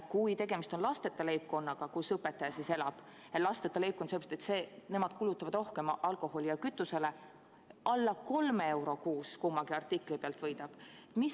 Kui õpetaja leibkond on lasteta – lasteta leibkond sellepärast, et nemad kulutavad rohkem alkoholile ja kütusele –, võidab kummagi artikli pealt alla kolme euro kuus.